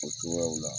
O cogoyaw la